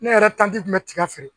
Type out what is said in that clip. Ne yɛrɛ taji kun bɛ tiga feere